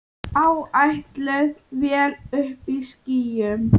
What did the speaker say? Áætluð vél uppí skýjum.